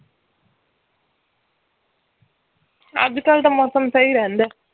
ਅੱਜ ਕੱਲ ਤਾਂ ਮੌਸਮ ਸਹੀ ਰਹਿੰਦਾ ਹੈ